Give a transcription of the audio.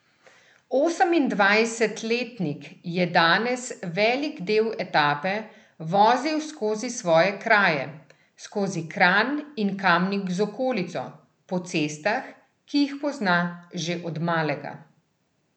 Osemindvajsetletnik je danes velik del etape vozil skozi svoje kraje, skozi Kranj in Kamnik z okolico, po cestah, ki jih pozna že od malega.